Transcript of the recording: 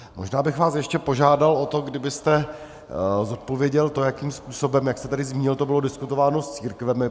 Možná bych vás ještě požádal o to, kdybyste zodpověděl to, jakým způsobem, jak jste tady zmínil, to bylo diskutováno s církvemi.